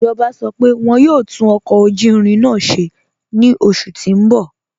Ijọba sọ pé wọn yọ̀ò tún ọkọ ojú irin náà ṣẹ̀ ni oṣù tí n bọ̀.